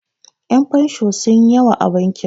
Yan' fensho sunyi yawa a bankin.